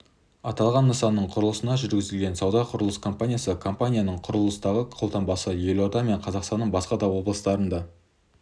аталған нысанның құрылысын жүргізген сауда құрылыс компаниясы компанияның құрылыстағы қолтаңбасы елорда мен қазақстанның басқа да облыстарында